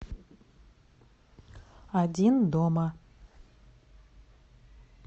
один дома